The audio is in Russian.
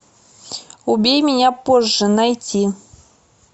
убей меня позже найти